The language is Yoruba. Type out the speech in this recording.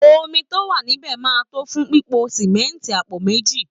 Omi tó wà nílẹ̀ máa tó fún pípo símẹ́ńtì àpò méjì